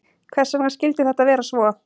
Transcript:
Hvers vegna skyldi þetta vera svo?